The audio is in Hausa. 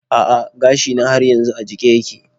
A'a gashina har yanzu a jike yake.